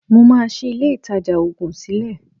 Mo máa ṣí ilé-ìtajà òògùn sílẹ̀